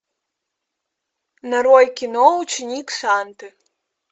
нарой кино ученик санты